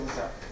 Vurmuşam.